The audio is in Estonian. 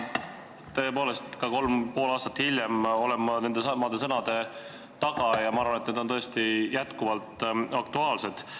Tõepoolest, ka kolm ja pool aastat hiljem olen ma nendesamade sõnade taga ja arvan, et need on jätkuvalt aktuaalsed.